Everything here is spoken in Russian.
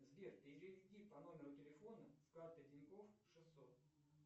сбер переведи по номеру телефона с карты тинькофф шестьсот